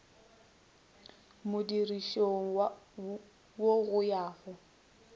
modirišong wo go ya go